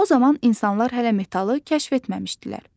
O zaman insanlar hələ metalı kəşf etməmişdilər.